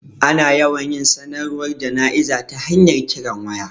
Ana yawan yin sanarwar jana'izar ta hanyar kiran waya